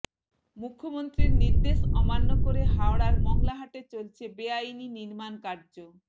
মুখ্যমন্ত্রীর নির্দেশ অমান্য করে হাওড়ার মঙ্গলাহাটে চলছে বেআইনি নির্মাণকার্য